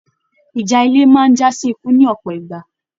Ìjà ilé máa n jasi ikú ní ọpọ ìgbà.